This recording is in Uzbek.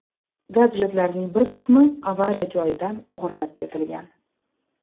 Gadjetlarning bir qismi avariya joyidan o‘g‘irlab ketilgan.